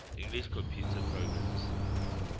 english computer programmers